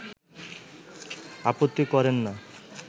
আপত্তি করেন না